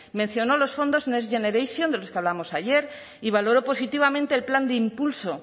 mencionó los fondos next generation de los que hablábamos ayer y valoró positivamente el plan de impulso